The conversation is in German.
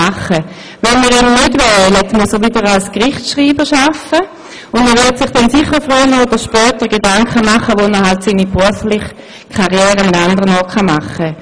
Wenn wir ihn nicht wählen, muss er wieder als Gerichtsschreiber arbeiten, und er wird sich sicher früher oder später Gedanken dazu machen, wo er seine berufliche Karriere fortsetzen kann.